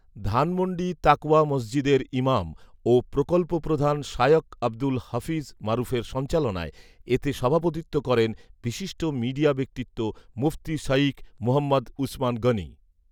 ধানমন্ডি তাকওয়া মসজিদের ইমাম ও প্রকল্পপ্রধান শায়খ আবদুল হাফিজ মারুফের সঞ্চালনায় এতে সভাপতিত্ব করেন বিশিষ্ট মিডিয়া ব্যক্তিত্ব মুফতি শাঈখ মুহাম্মাদ উছমান গনী